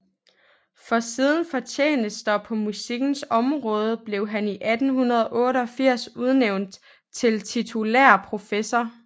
For sine fortjenester på musikkens område blev han i 1888 udnævnt til titulær professor